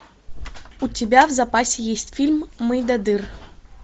у тебя в запасе есть фильм мойдодыр